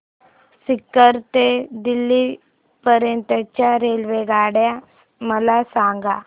सीकर ते दिल्ली पर्यंत च्या रेल्वेगाड्या मला सांगा